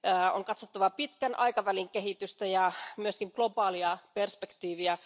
On katsottava pitkän aikavälin kehitystä ja myöskin globaalia perspektiiviä.